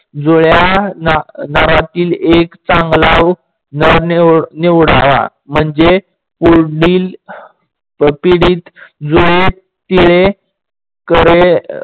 जुडया दारातील एक चांगला नर निवडावा. म्हणजे पुढील पिढीत जो करे